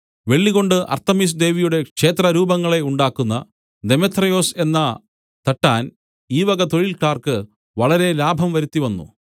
വെള്ളികൊണ്ട് Artemis ദേവിയുടെ ക്ഷേത്രരൂപങ്ങളെ ഉണ്ടാക്കുന്ന ദെമേത്രിയൊസ് എന്ന തട്ടാൻ ഈ വക തൊഴിൽക്കാർക്ക് വളരെ ലാഭം വരുത്തി വന്നു